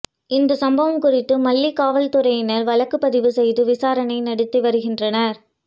இந்த சம்பவம் குறித்து மல்லி காவல்துறையினர் வழக்குப்பதிவு செய்து விசாரணை நடத்தி வருகின்றனர்